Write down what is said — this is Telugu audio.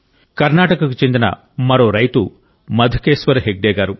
కర్ణాటకకు చెందిన మరో రైతు మధుకేశ్వర్ హెగ్డే గారు